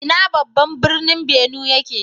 Ina babban birnin Benue yake?